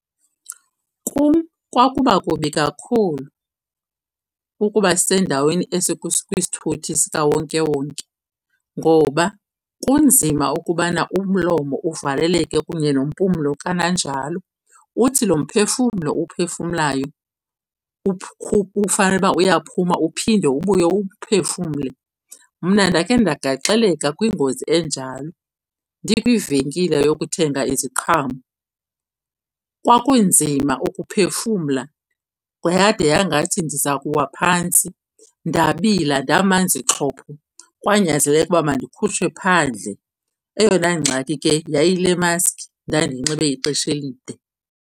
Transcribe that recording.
Kum kwakuba kubi kakhulu ukuba sendaweni esikwisithuthi sikawonke-wonke ngoba kunzima ukubana umlomo uvaleleke kunye nempumlo kananjalo. Uthi lo mphefumlo uwuphefumlayo ufanele uba uyaphuma uphinde ubuye uwuphefumle. Mna ndakhe ndagaxeleka kwingozi enjalo ndikwivenkile yokuthenga iziqhamo. Kwakunzima ukuphefumla yade yangathi ndiza kuwa phantsi, ndabila ndamanzi xhopho. Kwanyanzeleka ukuba mandikhutshwe phandle. Eyona ngxaki ke yayiyi le maski ndandiyinxibe ixesha elide.